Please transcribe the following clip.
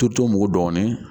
Toto mugu dɔɔnin